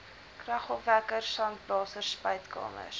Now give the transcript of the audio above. kragopwekkers sandblasers spuitkamers